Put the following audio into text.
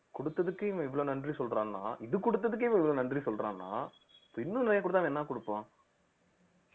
கொடுத்ததுக்கே இவன் இவ்வளவு நன்றி சொல்றான்னா இது கொடுத்ததுக்கே இவன் இவ்வளவு நன்றி சொல்றான்னா அப்ப இன்னும் நிறைய கொடுத்தா அவன் என்ன கொடுப்பான்